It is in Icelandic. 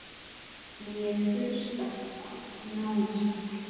Ég hlusta á: nánast allt